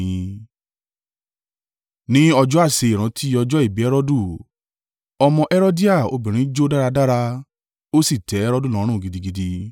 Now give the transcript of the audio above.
Ní ọjọ́ àsè ìrántí ọjọ́ ìbí Herodu, ọmọ Herodia obìnrin jó dáradára, ó sì tẹ́ Herodu lọ́run gidigidi.